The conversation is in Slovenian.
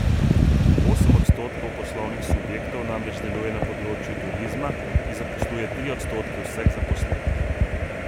Osem odstotkov poslovnih subjektov namreč deluje na področju turizma, ki zaposluje tri odstotke vseh zaposlenih.